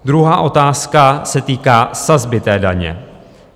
Druhá otázka se týká sazby daně.